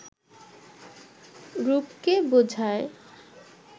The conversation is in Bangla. রূপকে বোঝায়